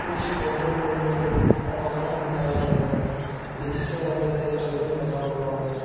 इस फोटो में एक कमरा दिखाया गया है जिसके अंदर एक टेबल लगा हुआ है।